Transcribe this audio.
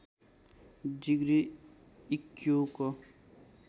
degree इक्क्युको